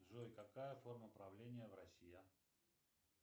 джой какая форма правления в россии